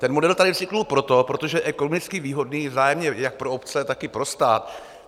Ten model tady vznikl proto, protože je ekonomicky výhodné vzájemně jak pro obce, tak i pro stát.